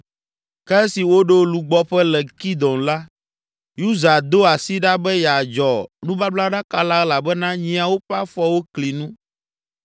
Ke esi woɖo lugbɔƒe le Kidon la, Uza do asi ɖa be yeadzɔ nubablaɖaka la elabena nyiawo ƒe afɔwo kli nu.